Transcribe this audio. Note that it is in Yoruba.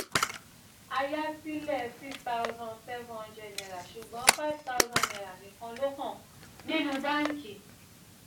ayásílẹ̀ six thousand seven hundred naira ṣùgbọ́n five thousand naira nikan ló hàn nínú bánkì.